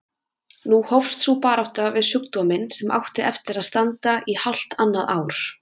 Nú hófst sú barátta við sjúkdóminn sem átti eftir að standa í hálft annað ár.